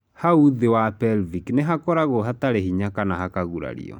nau nthĩ wa pelvic nĩ hakoragwo hatarĩ hinya kana hakagurario.